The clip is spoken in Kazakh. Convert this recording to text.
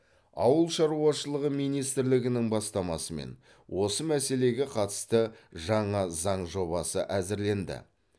ауыл шаруашылығы министрлігінің бастамасымен осы мәселеге қатысты жаңа заң жобасы әзірленді